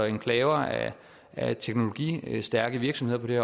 enklaver af teknologistærke virksomheder på det